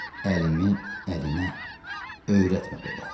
Əlimi əlinə öyrətmə belə.